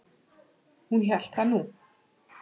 Hún hélt nú það.